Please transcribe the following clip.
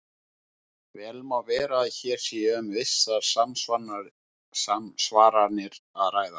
Vel má vera að hér sé um vissar samsvaranir að ræða.